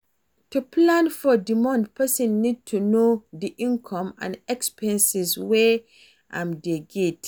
To plan for di month person need to know di income and expenses wey im dey get